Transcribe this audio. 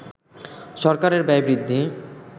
সরকারের ব্যয় বৃদ্ধি